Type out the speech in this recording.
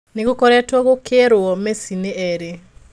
Nĩgũkoretwo gũkeirwo Messi nĩ erĩ.